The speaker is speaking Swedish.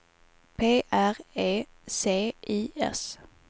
P R E C I S